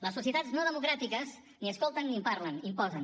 les societats no democràtiques ni escolten ni parlen imposen